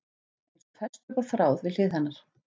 Eins og fest upp á þráð við hlið hennar.